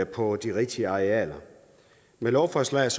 på de rigtige arealer med lovforslaget